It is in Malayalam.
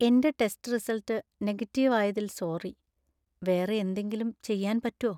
എന്‍റെ ടെസ്റ്റ് റിസൾട്ട് നെഗറ്റീവ് ആയതിൽ സോറി. വേറെ എന്തെങ്കിലും ചെയ്യാൻ പറ്റോ ?